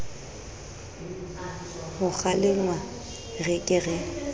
ho kgalengwa re ke ke